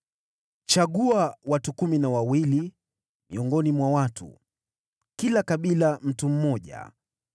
“Chagua watu kumi na wawili miongoni mwa watu, kila kabila mtu mmoja,